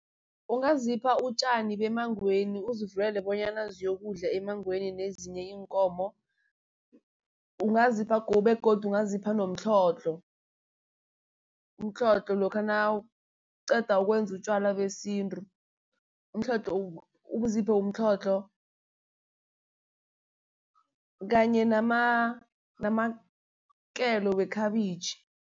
Ungazipha utjani bemangweni, uzivulele bonyana ziyokudla emangweni nezinye iinkomo. Ungazipha begodu ungazipha nomtlhodlho, umtlhodlho lokha nawuqeda ukwenza utjwala besintu. Umtlhodlho uziphe umtlhodlho kanye namakelo wekhabitjhi.